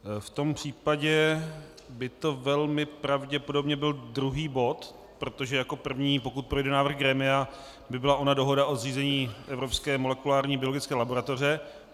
V tom případě by to velmi pravděpodobně byl druhý bod, protože jako první, pokud projde návrh grémia, by byla ona Dohoda o zřízení Evropské molekulární biologické laboratoře.